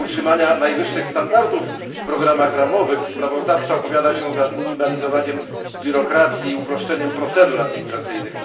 W celu utrzymania najwyższych standardów w programach ramowych sprawozdawca opowiada się za zminimalizowaniem biurokracji i uproszczeniem procedur administracyjnych.